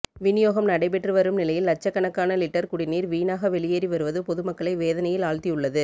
விநியோகம் நடைபெற்றுவரும் நிலையில் லட்சக்கணக்கான லிட்டர் குடிநீர் வீணாக வெளியேறிவருவது பொதுமக்களை வேதனையில் ஆழ்த்தியுள்ளது